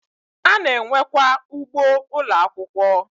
Ana enwe kwa ugboo Ụlọ akwụkwọ